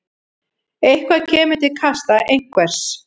Eitthvað kemur til kasta einhvers